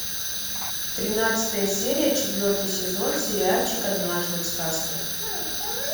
тринадцатая серия четвертый сезон сериальчик однажды в сказке